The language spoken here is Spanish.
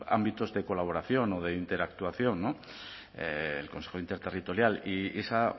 ámbitos de colaboración o de interactuación el consejo interterritorial y esa